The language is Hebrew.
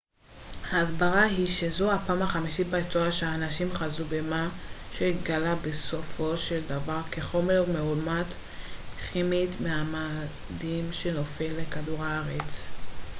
הסברה היא שזו הפעם החמישית בהיסטוריה שאנשים חזו במה שהתגלה בסופו של דבר כחומר מאומת כימית מהמאדים שנופל לכדור הארץ